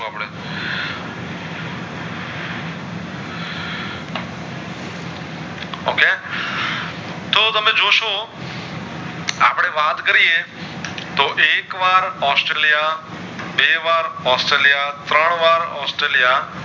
તમે જોશો આપડે વાત કરીયે તો એક વાર ઑસ્ટ્રેલિયા બે વાર ઑસ્ટ્રેલિયા ત્રણવાર ઑસ્ટ્રેલિયા